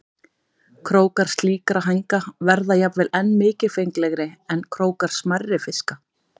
Krókar slíkra hænga verða jafnvel enn mikilfenglegri en krókar smærri fiska.